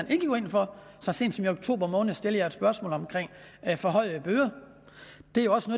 vil gå ind for så sent som i oktober måned stillede jeg et spørgsmål om forhøjede bøder det